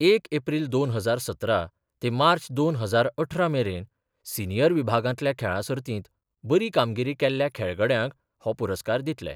एक एप्रील दोन हजार सतरा ते मार्च दोन हजार अठरा मेरेन सिनीयर विभागांतल्या खेळां सर्तींत बरी कामगिरी केल्ल्या खेळगड्यांक हो पुरस्कार दितले.